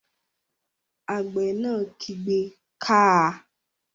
Àgbẹ̀ náà kígbe "káa!"